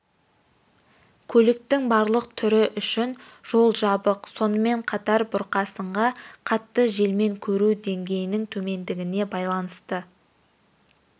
көліктің барлық түрі үшін жол жабық сонымен қатар бұрқасынға қатты желмен көру деңгейінің төмендігіне байланысты